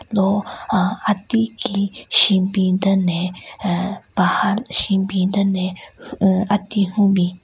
Lo aaa ati ki shunbin den le ahh paha shunbin den le unn ati hyun bin.